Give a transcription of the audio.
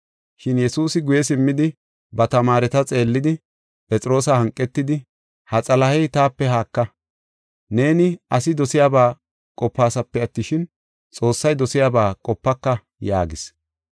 Shin Yesuusi guye simmidi, ba tamaareta xeellidi, Phexroosa hanqetidi, “Ha Xalahey, taape haaka. Neeni asi dosiyaba qopaasape attishin, Xoossay dosiyaba qopaka” yaagis.